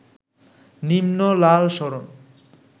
নিম্ন লাল সরণ